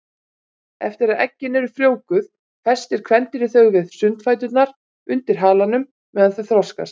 Eftir að eggin eru frjóvguð festir kvendýrið þau við sundfæturna undir halanum meðan þau þroskast.